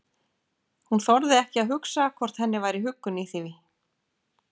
Hún þorði ekki að hugsa hvort henni væri huggun í því.